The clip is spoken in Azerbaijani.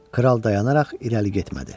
Kral dayanaraq irəli getmədi.